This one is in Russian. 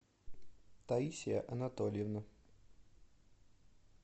таисия анатольевна